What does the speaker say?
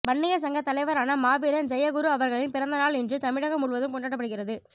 வன்னியர் சங்க தலைவரான மாவீரன் ஜெ குரு அவர்களின் பிறந்த நாள் இன்று தமிழகம் முழுவதும் கொண்டாடப்படுகிறது